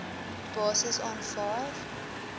basis aanvaar